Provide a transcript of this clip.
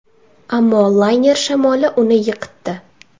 Ammo layner shamoli uni yiqitdi.